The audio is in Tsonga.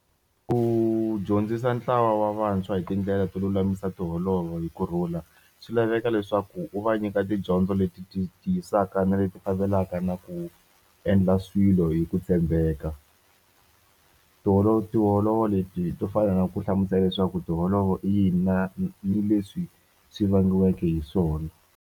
Ku dyondzisa ntlawa wa vantshwa hi tindlela to lulamisa tiholovo hi kurhula swi laveka leswaku u va nyika tidyondzo leti ti tisaka na leti fambelaka na ku endla swilo hi ku tshembeka tiholo tiholovo leti to fana na ku hlamusela leswaku tiholovo yi na ni leswi swi vangiweke hi swona.